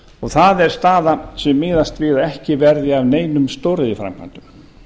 verðbólguna það er staðan sem miðast við að ekki verði af neinum stóriðjuframkvæmdum